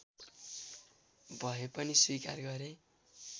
भए पनि स्वीकार गरे